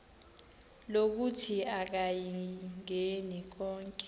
lokuthi akayingeni konke